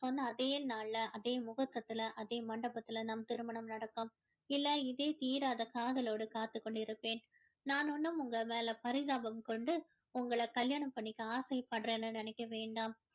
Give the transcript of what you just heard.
சொன்ன அதே நாள்ல அதே முகூர்த்தத்துல அதே மண்டபத்துல நம் திருமணம் நடக்கும் இல்ல இதே தீராத காதலோடு காத்துக் கொண்டிருப்பேன் நான் ஒன்னும் உங்க மேல பரிதாபம் கொண்டு உங்கள கல்யாணம் பண்ணிக்க ஆசை படுறேன்னு நினைக்க வேண்டாம்